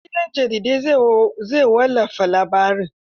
Gobe gidan jaridar zai wallafa labarin.